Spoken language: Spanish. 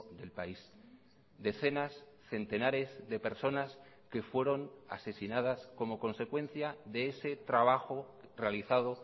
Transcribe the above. del país decenas centenares de personas que fueron asesinadas como consecuencia de ese trabajo realizado